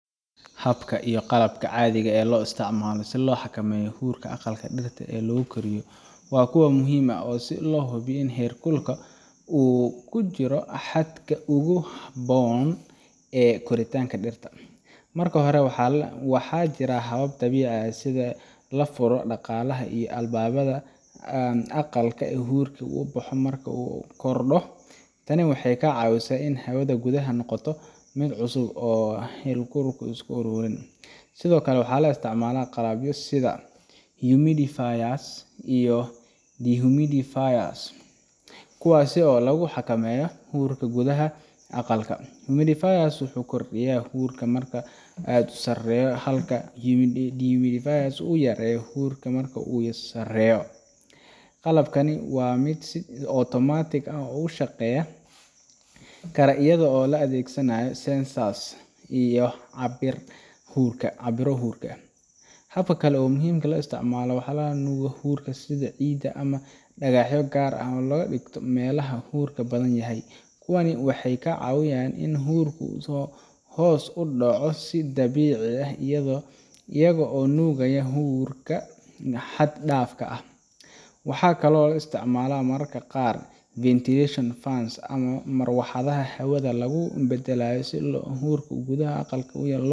Hababka iyo qalabka caadiga ah ee loo isticmaalo si loo xakameeyo huurka aqalka dhirta lagu koriyo waa kuwo muhiim ah si loo hubiyo in heerka huurka uu ku jiro xadka ugu habboon ee koritaanka dhirta. Marka hore, waxaa jira habab dabiici ah sida in la furo daaqadaha iyo albaabada aqalka si huurku u baxo marka uu aad u kordho. Tani waxay ka caawisaa in hawada gudaha ay noqoto mid cusub oo aan huurku isku ururin. Sidoo kale, waxaa la isticmaalaa qalabyo sida humidifiers iyo dehumidifiers kuwaas oo lagu xakameeyo huurka gudaha aqalka. Humidifier wuxuu kordhiyaa huurka marka uu aad u hooseeyo, halka dehumidifier uu yareeyo huurka marka uu aad u sarreeyo. Qalabkani waa mid si otomaatig ah u shaqeyn kara iyadoo la adeegsanayo sensor-yo cabira huurka. Hab kale oo muhiim ah waa isticmaalka walxaha nuugaya huurka sida ciid ama dhagaxyo gaar ah oo la dhigto meelaha huurku badan yahay. Kuwani waxay ka caawiyaan in huurku hoos u dhaco si dabiici ah iyagoo nuugaya huurka xad dhaafka ah. Waxaa kaloo la isticmaalaa mararka qaar ventilation fans ama marawaxadaha hawada lagu beddelo si huurka gudaha aqalka loo .